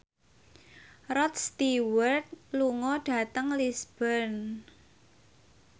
Rod Stewart lunga dhateng Lisburn